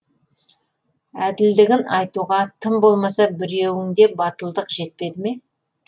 әділдігін айтуға тым болмаса біреуіңде батылдық жетпеді ме